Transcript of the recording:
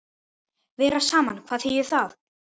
Vera saman, hvað þýðir það?